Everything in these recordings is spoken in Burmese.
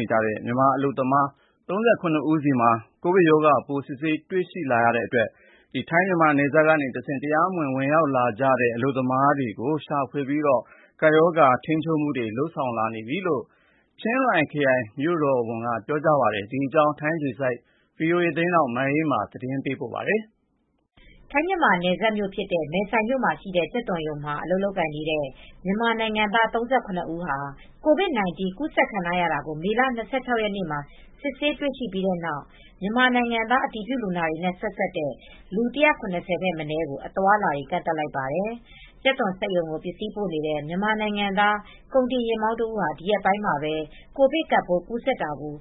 နေတဲ့ မြန်မာအလုပ်သမား ၃၇ဦးဟာ မေလ၂၆ ရက်နေ့က ကိုဗစ်ကပ်ရောဂါကူးစက်ခံထားကြောင်း စစ်ဆေးတွေ့ရှိတဲ့အတွက်ထိုင်း- မြန်မာနယ်စပ်က နယ်စပ်ကျေးရွာတွေမှာ တရားမဝင် ဝင်ရောက်လာသူတွေကို ရှာဖွေစစ်ဆေးပြီး ကပ်ရောဂါကာကွယ်ထိန်းချုပ်မူတွေ လုပ်ဆောင်နေပြီလို့ ချင်းရိုင်မြို့တော်ဝန်က ပြောဆိုသွားပါတယ်။ ဒီသတင်းကို ဗွီအိုအေ သတင်းထောက် မအေးအေးမာက ပြောပြပေးမှာပါ။ ထိုင်း-မြန်မာနယ်စပ်မြို့ဖြစ်တဲ့ မယ်ဆိုင်မြို့ မှာရှိတဲ့ကြက်သွန်ရုံမှာ အလုပ်လုပ်နေတဲ့ မြန်မာနိုင်ငံသား ဦး COVID 19 ကူးစက်ခံထားရတာကို မေလ ၂၆ရက်နေ့မှာ စစ်ဆေးတွေ့ရပြီးနောက် မြန်မာနိုင်ငံသား အတည်ပြုလူနာတွေနဲ့ ဆက်စပ်တဲ့ လူ ၁၇၀ ထက်မနည်းကို အသွားအလာတွေ ကန့့်သတ်လိုက်ပါတယ်။ ကြက်သွန်စက်ရုံကို ပစ္စည်းပို့နေတဲ့ မြန်မာနိုင်ငံသားကုန်တင်ယာဉ်မောင်းတဦးဟာ ဒီရက်ပိုင်းမှာပဲ ကိုဗစ်ကပ်ပိုး ကူးစက်တာကို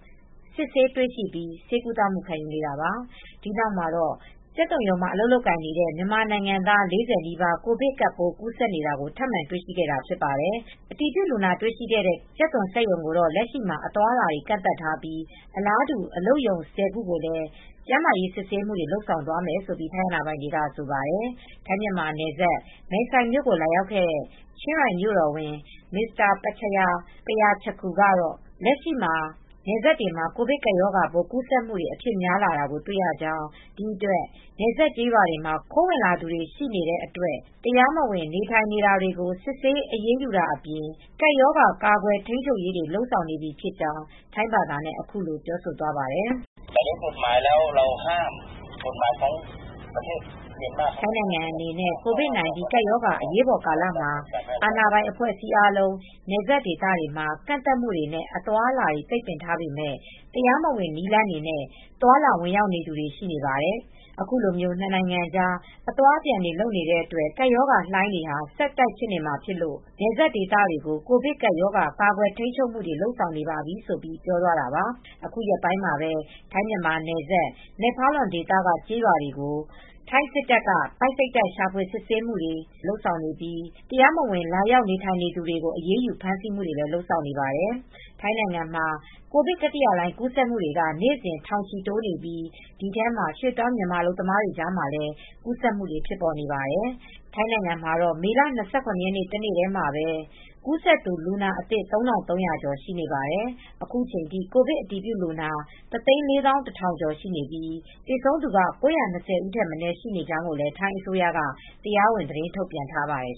စစ်ဆေးတွေ့ရှိပြီး ဆေးကုသမူခံနေရတာပါ။ ဒီနောက်မှာတော့ ကြက်သွန်ရုံမှာ အလုပ်လုပ်နေတဲ့ မြန်မာနိုင်ငံသား ၄၀နီးပါး ကိုဗစ်ကပ်ပိုး ကူးစက်နေတာကို ထပ်မံတွေ့ရှိခဲ့တာ ဖြစ်ပါတယ်။ အတည်ပြုလူနာတွေ့ရှိတဲ့ ကြက်သွန်စက်ရုံကို တော့လက်ရှိမှာ အသွားအလာတွေ ကန့်သတ်ထားပြီး အလားတူ အလုပ်ရုံ ခုကိုလည်း ကျန်းမာရေးစစ်ဆေးမူတွေ လုပ်သွားမယ်လို့ ထိုင်းအာဏာပိုင်တွေက ဆိုပါတယ်။ ထိုင်း-မြန်မာယ်စပ် ၊ မယ်ဆိုင်မြို့ကို လာရောက်ခဲ့တဲ့ ချင်းရိုင်မြို့တော်ဝန် Mr. Prachaya Prachatakul ကတော့ လက်ရှိ နယ်စပ်တွေမှာ ကိုဗစ်ကပ်ရောဂါကူးစက်မူတွေ အဖြစ်များလာကို တွေ့ရကြောင်း ဒီအတွက် နယ်စပ်ကျေးရွာတွေမှာ ခိုးဝင်သူတွေရှိနေတဲ့အတွက် တရားမဝင် နေထိုင်နေတာတွေကို စစ်ဆေး အရေးယူတာအပြင် ကပ်ရောဂါကာကွယ် ထိန်းချုပ်ရေးတွေ လုပ်ဆောင်နေပြီဖြစ်ကြောင်း ထိုင်းဘာသာနဲ့ အခုလိုပြောဆိုသွားပါတယ်။ “ထိုင်းနိုင်ငံအနေနဲ့ ကိုဗစ်၁၉ ကပ်ရောဂါ အရေးပေါ်ကာလ မှာ အာဏာပိုင် အဖွဲ့အစည်းတွေ အားလုံး နယ်စပ်ဒေသမှာ ကန့်သတ်မှုတွေ နဲ့ အသွားအလာတွေ ပိတ်ပင်ထားပေမယ့် တရားမဝင်နည်းလမ်းတွေနဲ့ သွားလာ ဝင်ရောက်လာနေတဲ့ သူတွေရှိနေပါတယ်။ အခုလို နှစ်နိုင်ငံကြား အသွားအပြန် လုပ်နေတဲ့အတွက် ကပ်ရောဂါလှိုင်းတွေဟာ ဆက်ဖြစ်နေမှာဖြစ်လို့ နယ်စပ်ဒေသတွေကို ကိုဗစ်ကပ်ရောဂါ ကာကွယ်ထိန်းချုပ်မူတွေ လုပ်ဆောင်နေပါပြီ” ဆိုပြီး ပြောသွားတာပါ။ အခုရက်ပိုင်းမှာပဲ ထိုင်း-မြန်မာနယ်စပ်၊ မယ့်ဖာလွန်ဒေသက ကျေးရွာတွေကို ထိုင်းစစ်တပ်တွေ ပိုက်စိတ်တိုက် ရှာဖွေ စစ်ဆေးမူတွေ လုပ်ဆောင်နေပြီး တရားမဝင် လာရောက်နေထိုင်နေသူတွေကို အရေးယူ ဖမ်းဆီးမှုတွေ လုပ်ဆောင်နေပါတယ်။ ထိုင်းနိုင်ငံမှာ ကိုဗစ် တတိယလှိုင်း ကူးစက်မူတွေက နေ့စဉ် ထောင်ချီတိုးနေပြီး ဒီထဲမှာ ရွှေ့ပြောင်းမြန်မာ အလုပ်သမားတွေကြားမှာလည်း ကူးစက်မူတွေဖြစ်နေပါတယ်။ ထိုင်းနိုင်ငံမှာတော့မေလ ၂၇ ရက်နေ့ တနေ့တည်းမှာပဲ ကူးစက်သူ လူနာအသစ် ၃၃၀၀ကျော် ရှိနေပါတယ်။ အခုချိန်ထိ ကိုဗစ်အတည်ပြုလူနာ တသိန်းလေးသောင်းတထောင်ကျော်ရှိပြီး သေဆုံးသူက ၉၂၀ဦး ထက်မနည်းရှိနေကြောင်း ထိုင်းအစိုးရက တရားဝင်သတင်းထုတ်ပြန်ထားပါတယ်